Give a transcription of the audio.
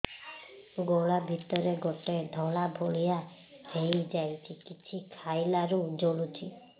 ଗଳା ଭିତରେ ଗୋଟେ ଧଳା ଭଳିଆ ହେଇ ଯାଇଛି କିଛି ଖାଇଲାରୁ ଜଳୁଛି